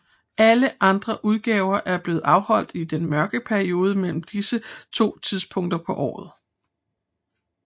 Alle andre udgaver er blevet afholdt i den mørke periode imellem disse to tidspunkter på året